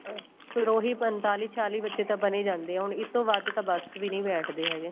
ਫੇਰ ਉਹੀ ਪੰਤਾਲੀ ਛਿਆਲੀ ਬੱਚੇ ਤਾਂ ਬਣ ਹੀ ਜਾਂਦੇ ਹੋਣੇ ਇਸ ਤੋਂ ਵੱਧ ਤਾਂ ਬੱਸ ਚ ਵੀ ਨੀਂ ਬੈਠਦੇ ਹੈਗੇ